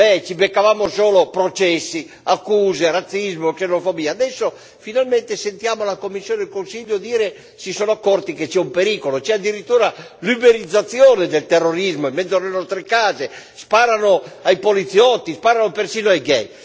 ci beccavamo solo processi, accuse di razzismo e xenofobia. Adesso, finalmente, sentiamo la Commissione e il Consiglio dire che si sono accorti che c'è un pericolo, c'è addirittura l'uberizzazione del terrorismo, in mezzo alle nostre case, sparano ai poliziotti, sparano persino ai gay.